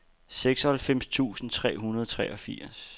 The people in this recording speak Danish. seksoghalvfems tusind tre hundrede og treogfirs